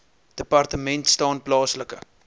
departement staan plaaslike